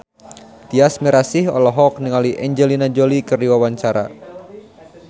Tyas Mirasih olohok ningali Angelina Jolie keur diwawancara